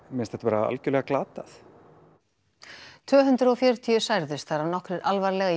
mér finnst þetta algjörlega glatað tvö hundruð og fjörutíu særðust þar af nokkrir alvarlega í